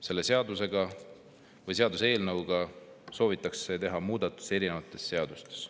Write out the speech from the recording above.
Selle seaduseelnõuga soovitakse teha muudatusi erinevates seadustes.